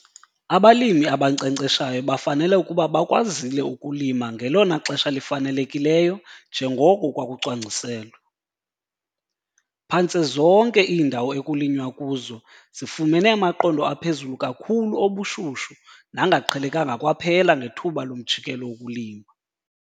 Abalimi abankcenkceshayo bafanele ukuba bakwazile ukulima ngelona xesha lifanelekileyo njengoko kwakucwangciselwe. Phantse zonke iindawo ekulinywa kuzo zifumene amaqondo aphezulu kakhulu obushushu nangaqhelekanga kwaphela ngethuba lomjikelo wokulima.